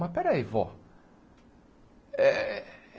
Mas peraí, vó. Eh